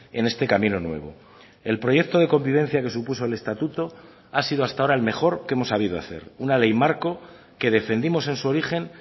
en este camino nuevo el proyecto de convivencia que supuso el estatuto ha sido hasta ahora el mejor que hemos sabido hacer una ley marco que defendimos en su origen